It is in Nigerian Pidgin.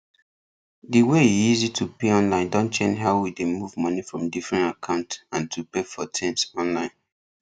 di way e easy to pay online don change how we dey move money from different account and to pay for tins online